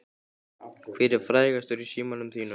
Hver er frægastur í símanum þínum?